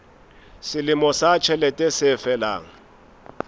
selemo sa ditjhelete se felang